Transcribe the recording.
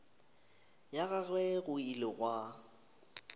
ga gagwe go ile gwa